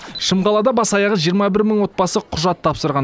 шымқалада бас аяғы жиырма бір мың отбасы құжат тапсырған